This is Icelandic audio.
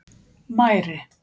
Mæri